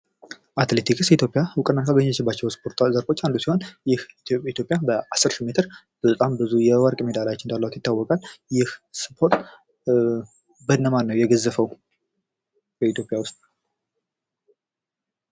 አትሌቲክስ ኢትዮጵያ እውቅና ካገኘችባቸው ስፖርታዊ ዘርፎች አንዱ ሲሆን ይህ የኢትዮጵያ በአስር ሺህ ሜትር በጣም ብዙ የወርቆች ሜዳሊያዎች እንዳሏት ይታወቃል ። ይህ ስፖርት በነማን ነው የገዘፈው በኢትዮጵያ ውስጥ ?